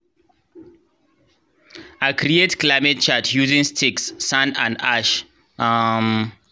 i create climate chart using sticks sand and ash. um